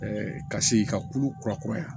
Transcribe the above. ka se ka kulu kurakuraya